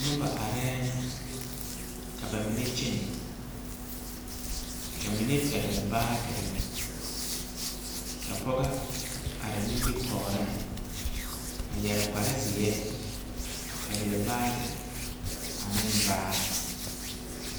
Noba areŋ ka ba mine kyɛne, ka mine pɛgele baagere ka pɔgɔ are nimitɔreŋ a yɛre kpare zeɛ a pɛgele baage ane baa.